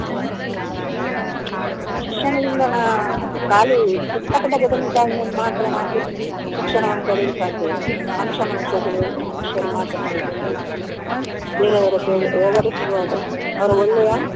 ಹ್ಮ್‌ ಶಿಕ್ಷಣದಿಂದ ನಾವು ಖಾಲಿ ಪುಸ್ತಕದ ಬದನೇಕಾಯಿಯನ್ನು ಮಾತ್ರ ನಾವು ಶಿಕ್ಷಣವನ್ನು ಪಡೆಯಲು ಸಾಧ್ಯವಿಲ್ಲ ಮನುಷ್ಯ ಮನುಷ್ಯ ಮನುಷ್ಯರು ಮಾತ್ರ ಮಾತಾಡಿಕೊಂಡು ಹ್ಮ್‌ ಬೇರೆಯವರತ್ರ ವ್ಯವರಿಸುವಾಗ ಅವರು ಒಳ್ಳೆಯ.